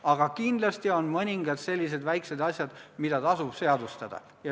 Aga kindlasti on ka mõningad sellised väikesed asjad, mida tasub seadustada.